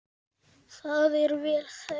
Það er vel þekkt.